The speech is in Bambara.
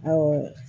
Awɔ